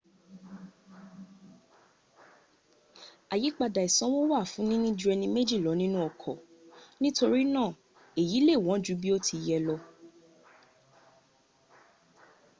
àyípadà ìsanwó wà fún níní ju ẹni méjì lọ nínu ọkọ́ nítorínà èyí lè wọ́n jú bí ó ti yẹ lọ